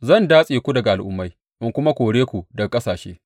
Zan datse ku daga al’ummai in kuma kore ku daga ƙasashe.